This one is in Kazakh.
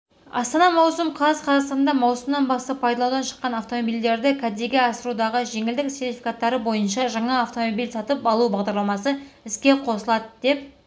астана маусым қаз қазақстанда маусымнан бастап пайдаланудан шыққан автомобильдерді кәдеге асырудағы жеңілдік сертифкаттары бойынша жаңа автомобиль сатып алу бағдарламасы іске қосылады деп